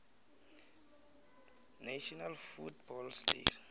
national football league